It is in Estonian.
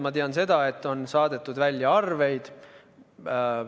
Ma tean seda, et on saadetud välja arveid.